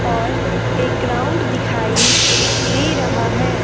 और एक ग्राउंड दिखाई दे रहा है।